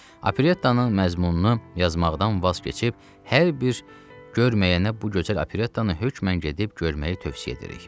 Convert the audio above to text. Operettanın məzmununu yazmaqdan vaz keçib hər bir görməyənə bu gözəl operettanı hökmən gedib görməyi tövsiyə edirik.